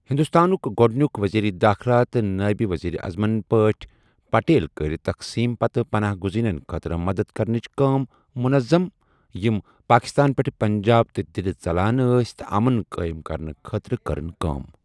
ہندوستانُک گڈٕنیُک وزیر دٲخلہٕ تہٕ نائب وزیر اعظمٕن پٲٹھۍ، پٹیل کٔر تقسیم پتہٕ پناہ گزینن خٲطرٕ مدد کرنٕچ کام منظم یِم پاکستان پٮ۪ٹھ پنجاب تہٕ دِلہِ ژلان ٲس تہٕ امُن قٲیِم کرنہٕ خاطرٕ کٔرن کام۔